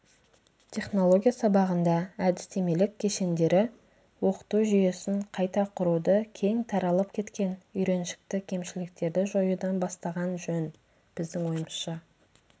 технология сабағында әдістемелік кешендері оқыту жүйесін қайта құруды кең таралып кеткен үйреншікті кемшіліктерді жоюдан бастаған жөн біздің ойымызша